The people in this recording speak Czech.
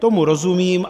Tomu rozumím.